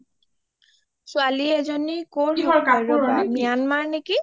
ছোৱালী এজনী কৰ হয় Myanmar নেকি